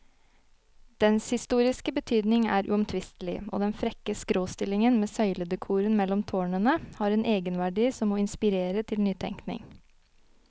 Dens historiske betydning er uomtvistelig, og den frekke skråstillingen med søyledekoren mellom tårnene har en egenverdi som må inspirere til nytenkning.